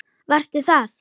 Varstu það?